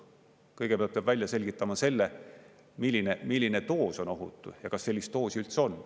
Kõigepealt peab välja selgitama selle, milline doos on ohutu ja kas sellist doosi üldse on.